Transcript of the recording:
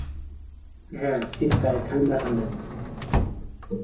হ্যাঁ শীত কালে ঠাণ্ডা ঠাণ্ডাতে